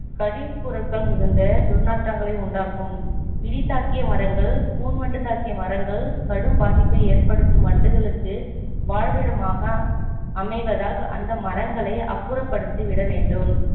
கழிவுப்பொருட்கள் மிகுந்த துர்நாற்றங்களை உண்டாக்கும் இடி தாக்கிய மரங்கள் கூன்வண்டு தாக்கிய மரங்கள் கடும் பாதிப்பை ஏற்படுத்தும் வண்டுகளுக்கு வாழ்விடமாக அமைவதால் அந்த மரங்களை அப்புறப்படுத்திவிட வேண்டும்